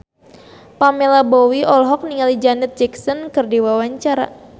Pamela Bowie olohok ningali Janet Jackson keur diwawancara